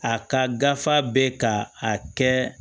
A ka gafe bɛ ka a kɛ